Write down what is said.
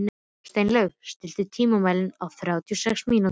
Steinlaug, stilltu tímamælinn á þrjátíu og sex mínútur.